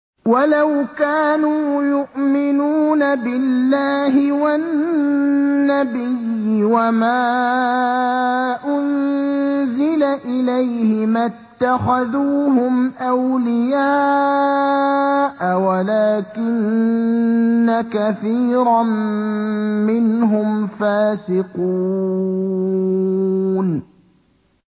وَلَوْ كَانُوا يُؤْمِنُونَ بِاللَّهِ وَالنَّبِيِّ وَمَا أُنزِلَ إِلَيْهِ مَا اتَّخَذُوهُمْ أَوْلِيَاءَ وَلَٰكِنَّ كَثِيرًا مِّنْهُمْ فَاسِقُونَ